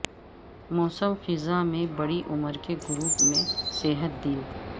موسم خزاں میں بڑی عمر کے گروپ میں صحت دن